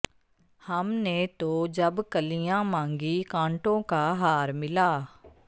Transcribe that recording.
ਹਮ ਨੇ ਤੋ ਜਬ ਕਲੀਆਂ ਮਾਂਗੀ ਕਾਂਟੋਂ ਕਾ ਹਾਰ ਮਿਲਾ